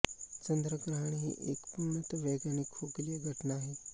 चंद्रग्रहण ही एक पूर्णत वैज्ञानिक खगोलीय घटना आहे